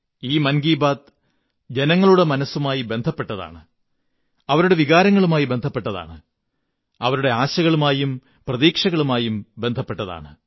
ഈ മൻ കീ ബാത്ത് ജനങ്ങളുടെ മനസ്സുമായി ബന്ധപ്പെട്ടതാണ് അവരുടെ വികാരങ്ങളുമായി ബന്ധപ്പെട്ടതാണ് അവരുടെ ആശകളുമായും പ്രതീക്ഷകളുമായും ബന്ധപ്പെട്ടതാണ്